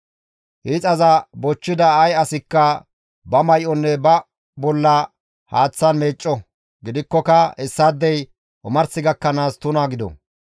Hiixaza bochchida ay asikka ba may7onne ba bolla haaththan meecco; gidikkoka hessaadey omars gakkanaas tuna gido.